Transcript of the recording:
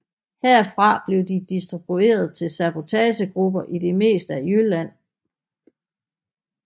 Herfra blev de distribueret til sabotagegrupper i det meste af Jylland